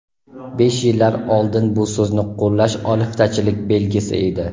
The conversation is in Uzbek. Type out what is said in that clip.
Besh yillar oldin bu so‘zni qo‘llash oliftachilik belgisi edi.